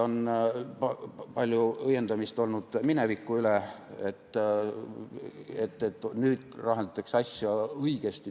On palju õiendamist olnud mineviku üle, öeldakse, et nüüd lahendatakse asja õigesti.